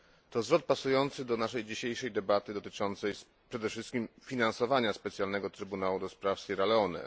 To zwrot pasujący do naszej dzisiejszej debaty dotyczącej przede wszystkim finansowania Specjalnego Trybunału do spraw Sierra Leone.